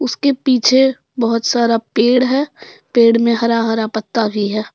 उसके पीछे बहुत सारा पेड़ है पेड़ में हरा हरा पत्ता भी है।